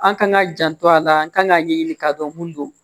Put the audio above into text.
An kan ka janto a la an kan ka ɲɛɲini ka dɔn mun don